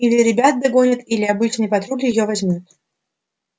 или ребята догонят или обычный патруль её возьмёт